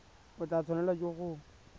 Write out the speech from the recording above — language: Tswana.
o tla tshwanelwa ke go